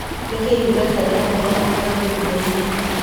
Nĩkĩĩ Ũganda ĩrahitha maguta ngurungainĩ?